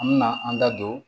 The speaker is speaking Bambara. An me na an da don